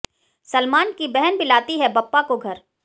सलमान की बहन भी लाती हैं बप्पा को घर